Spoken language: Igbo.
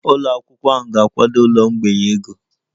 Ụlọ akwụkwọ ahụ ga-akwado ụlọ mgbei ego